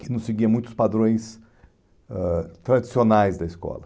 que não seguia muitos padrões ãh tradicionais da escola.